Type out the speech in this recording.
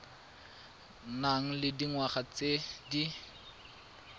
nang le dingwaga tse di